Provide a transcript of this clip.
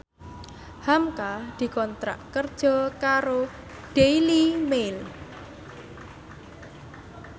hamka dikontrak kerja karo Daily Mail